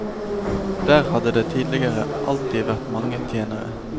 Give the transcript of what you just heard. Der hadde det tidligere alltid vært mange tjenere.